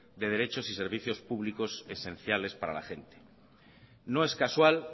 de derechos y servicios públicos esenciales para la gente no es casual